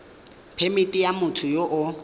phemithi ya motho yo o